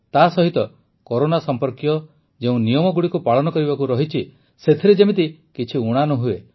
ତାସହିତ କରୋନା ସମ୍ପର୍କୀୟ ଯେଉଁ ନିୟମଗୁଡ଼ିକୁ ପାଳନ କରିବାକୁ ଅଛି ସେଥିରେ ଯେମିତି କିଛି ଊଣା ନ ହୁଏ